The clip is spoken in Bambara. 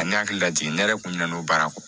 A ne hakili lajigi ne yɛrɛ kun ɲinɛ baara kɔ